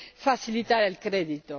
facilitar el crédito.